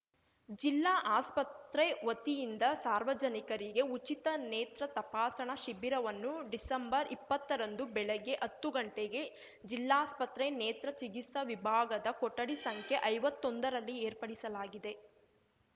ಜಿಲ್ಲಾ ಆಸ್ಪತ್ರೆ ವತಿಯಿಂದ ಸಾರ್ವಜನಿಕರಿಗೆ ಉಚಿತ ನೇತ್ರ ತಪಾಸಣಾ ಶಿಬಿರವನ್ನು ಡಿಸೆಂಬರ್ಇಪ್ಪತ್ತರಂದು ಬೆಳಗ್ಗೆ ಹತ್ತು ಗಂಟೆಗೆ ಜಿಲ್ಲಾಸ್ಪತ್ರೆ ನೇತ್ರ ಚಿಕಿತ್ಸಾ ವಿಭಾಗದ ಕೊಠಡಿ ಸಂಖ್ಯೆ ಐವತ್ತೊಂದರಲ್ಲಿ ಏರ್ಪಡಿಸಲಾಗಿದೆ